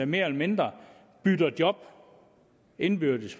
mere eller mindre bytter job indbyrdes